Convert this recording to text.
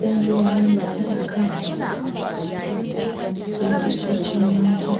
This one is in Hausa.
Zan yi bayani ne a kan, likitocin mata,